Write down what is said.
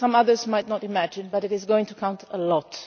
some others might not imagine, but it is going to count a lot.